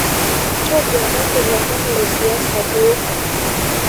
ntoduakaki lomon lesiasa duo